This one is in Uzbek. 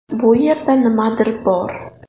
Bu yerda nimadir bor”.